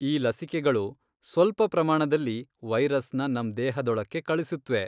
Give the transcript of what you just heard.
ಈ ಲಸಿಕೆಗಳು ಸ್ವಲ್ಪ ಪ್ರಮಾಣದಲ್ಲಿ ವೈರಸ್ನ ನಮ್ ದೇಹದೊಳಕ್ಕೆ ಕಳಿಸುತ್ವೆ.